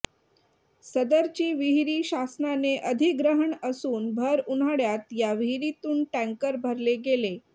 सदरची विहिरी शासनाने अधिग्रहण असून भर उन्हाळ्यात या विहिरीतून टँकर भरले गेले